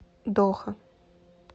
доха